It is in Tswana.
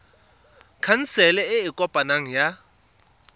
khansele e e kopaneng ya